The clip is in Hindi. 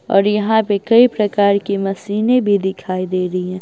और यहां पे कई प्रकार की मशीनें भी दिखाई दे रही हैं।